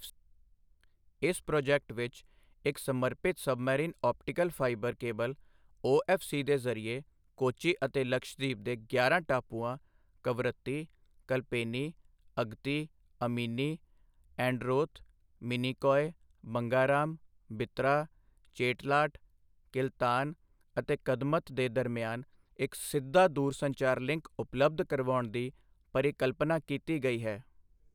ਇਸ ਪ੍ਰੋਜੈਕਟ ਵਿੱਚ ਇੱਕ ਸਮਰਪਿਤ submarine optical fibre cable OFC ਦੇ ਜ਼ਰੀਏ ਕੋਚੀ ਅਤੇ ਲਕਸ਼ਦ੍ਵੀਪ ਦੇ ਗਿਆਰਾਂ ਟਾਪੂਆਂ ਕਵਰੱਤੀ, ਕਲਪੇਨੀ, ਅਗਤੀ, ਅਮਿਨੀ, ਐਂਡਰੋਥ, ਮਿਨੀਕੌਇ, ਬੰਗਾਰਾਮ, ਬਿਤ੍ਰਾ, ਚੇਟਲਾਟ, ਕਿਲਤਾਨ ਅਤੇ ਕਦਮਤ ਦੇ ਦਰਮਿਆਨ ਇੱਕ ਸਿੱਧਾ ਦੂਰਸੰਚਾਰ ਲਿੰਕ ਉਪਲਬਧ ਕਰਵਾਉਣ ਦੀ ਪਰਿਕਲਪਨਾ ਕੀਤੀ ਗਈ ਹੈ।